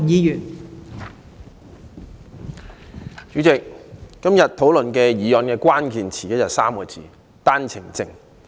代理主席，今天議案辯論的關鍵詞是："單程證 "3 個字。